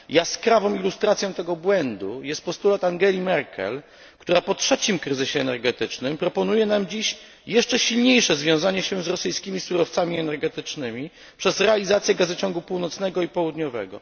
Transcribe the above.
Jaskrawą ilustracją tego błędu jest postulat Angeli Merkel, która po trzecim kryzysie energetycznym proponuje nam dziś jeszcze silniejsze związanie się z rosyjskimi surowcami energetycznymi, przez realizację gazociągu północnego i południowego.